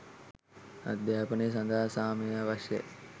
අධ්‍යාපනය සඳහා සාමය අවශ්‍යයි.